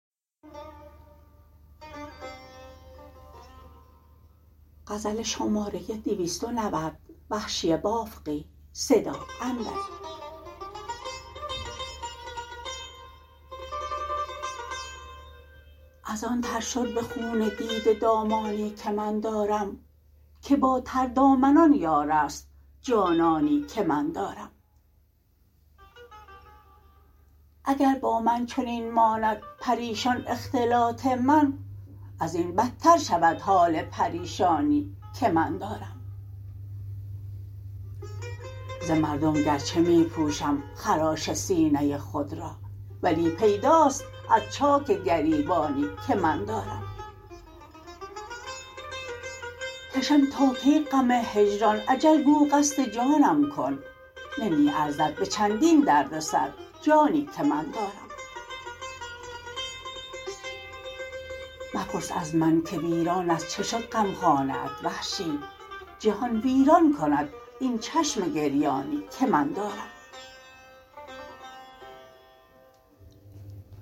از آن تر شد به خون دیده دامانی که من دارم که با تردامنان یار است جانانی که من دارم اگر با من چنین ماند پریشان اختلاط من ازین بدتر شود حال پریشانی که من دارم ز مردم گرچه می پوشم خراش سینه خود را ولی پیداست از چاک گریبانی که من دارم کشم تا کی غم هجران اجل گو قصد جانم کن نمی ارزد به چندین درد سر جانی که من دارم مپرس از من که ویران از چه شد غمخانه ات وحشی جهان ویران کند این چشم گریانی که من دارم